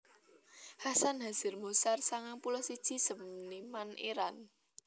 Hasan Hazer Moshar sangang puluh siji seniman Irant